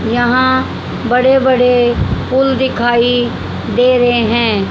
यहां बड़े बड़े पुल दिखाई दे रहे हैं।